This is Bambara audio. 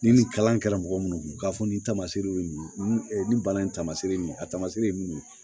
Ni nin kalan kɛra mɔgɔ munnu kun k'a fɔ nin tamaseere ye mun ye nin bana in tamasere ye mun ye a tamaseere ye mun ye